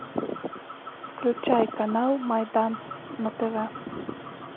включай канал майдан на тв